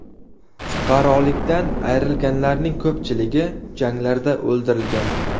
Fuqarolikdan ayrilganlarning ko‘pchiligi janglarda o‘ldirilgan.